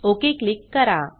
okay click करा